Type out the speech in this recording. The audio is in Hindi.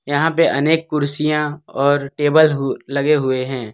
यहां पे अनेक कुर्सियां और टेबल हु लगे हुए हैं।